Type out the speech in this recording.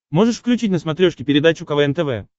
можешь включить на смотрешке передачу квн тв